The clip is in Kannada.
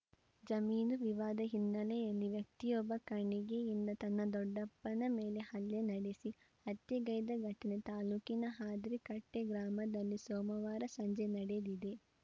ಜಮೀನು ವಿವಾದ ಹಿನ್ನೆಲೆಯಲ್ಲಿ ವ್ಯಕ್ತಿಯೊಬ್ಬ ಕಣಿಗೆಯಿಂದ ತನ್ನ ದೊಡ್ಡಪ್ಪನ ಮೇಲೆ ಹಲ್ಲೆ ನಡೆಸಿ ಹತ್ಯೆಗೈದ ಘಟನೆ ತಾಲೂಕಿನ ಹಾದ್ರಿಕಟ್ಟೆಗ್ರಾಮದಲ್ಲಿ ಸೋಮವಾರ ಸಂಜೆ ನಡೆದಿದೆ